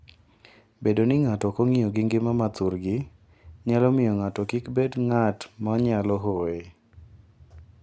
Bedo ni ng'ato ok ong'iyo gi ngima ma thurgi, nyalo miyo ng'ato kik bed ng'at ma nyalo hoye.